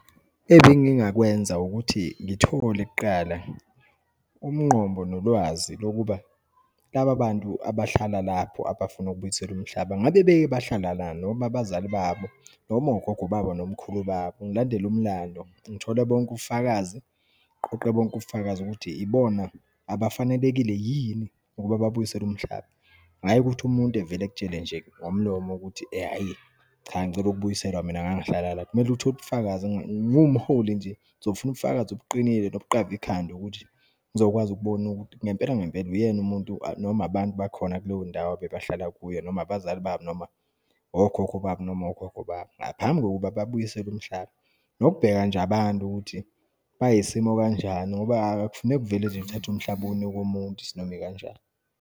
Ebengingakwenza ukuthi ngithole kuqala umgombo nolwazi lokuba, laba bantu abahlala lapho abafuna ukubuyiselwa umhlaba, ngabe beke bahlala la, noma abazali babo, noma ogogo baba, nomkhulu babo, ngilandele umlando, ngithole bonke ubufakazi, ngiqoqe bonke ubufakazi ukuthi ibona abafanelekile yini ukuba babuyiselwe umhlaba. Hhayi ukuthi umuntu evele ekutshele nje ngomlomo ukuthi hhayi ngicela ukubuyiselwa, mina ngangihlala la, kumele uthole ubufakazi. Ngiwumholi nje ngizofuna ubufakazi obuqinile, nobuqavi ikhanda ukuthi ngizokwazi ukubona ukuthi ngempela ngempela uyena umuntu noma abantu bakhona kuleyo ndawo abebahlala kuyo, noma ngabazali babo, noma okhokho babo, noma ogogo babo, ngaphambi kokuba babuyiselwe umhlaba. Nokubheka nje abantu ukuthi bayisimo kanjani ngoba akufuneki kuvele nje uthathe umhlaba uwunike umuntu isinomikanjani.